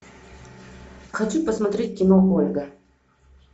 хочу посмотреть кино ольга